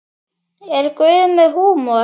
Er Guð með húmor?